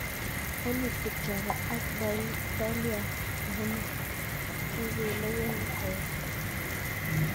Eliud Kipchoge ak Dalilah Muhammad kikelewen koek